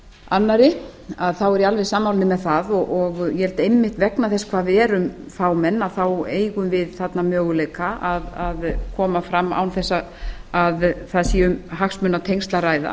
annarri þá er ég alveg sammála honum um það og eg held að einmitt vegna þess hvað við erum fámenn þá eigum við þarna möguleika án þess að að sé um hagsmunatengsl að ræða